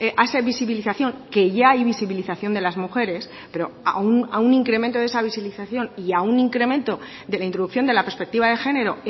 a esa visibilización que ya hay visibilización de las mujeres pero a un incremento de esa visibilización y a un incremento de la introducción de la perspectiva de género